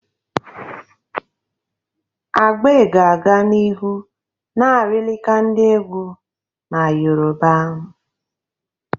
Agbe ga-aga n'ihu na-arịlịka ndi egwu na Yoruba.